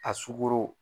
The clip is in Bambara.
A sugoro